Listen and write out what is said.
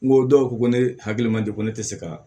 N ko dɔw ko ko ne hakili man di ko ne tɛ se ka